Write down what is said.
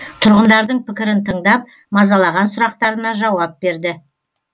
тұрғындардың пікірін тыңдап мазалаған сұрақтарына жауап берді